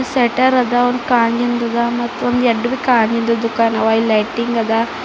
ಶೆಟ್ಟರ್ ಅದಾ ಒಂದು ಗಾಜಿಂದದ ಮತ್ತೊಂದು ಎರಡು ಗಾಜಿಂದದ ದುಃಖಾನವ ಲೈಟಿಂಗ್ ಅದ.